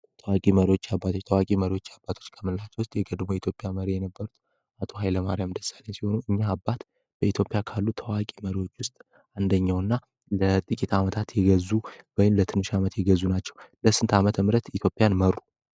ተዋቂ መሪዎች እና አባቶች ታዋቂ መሪዎች አባቶች ከምንላቸው ውስጥ የቅድሞ ኢትዮጵያ መሪ የነበሩት አቶ ሃይለማሪያም ደሳሌኝ ሲሆኑ እኛ አባት በኢትዮጵያ ካሉት ተዋቂ መሪዎች ውስጥ አንደኘው እና ለጥቂት አመታት የገዙ ወንም ለትንሽ ዓመት የገዙ ናቸው። ለስንት ዓመት ምረት ኢትዮጵያን መሩ?